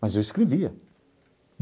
Mas eu escrevia.